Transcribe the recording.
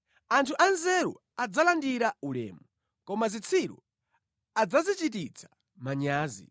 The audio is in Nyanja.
Anthu anzeru adzalandira ulemu, koma zitsiru adzazichititsa manyazi.